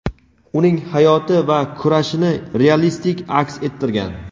uning hayoti va kurashini realistik aks ettirgan.